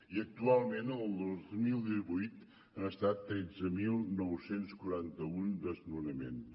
i actualment el dos mil divuit han estat tretze mil nou cents i quaranta un desnonaments